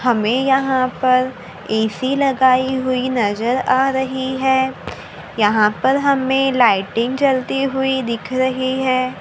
हमें यहां पर ए_सी लगाई हुई नजर आ रही है यहां पर हमें लाइटिंग जलती हुई दिख रही है।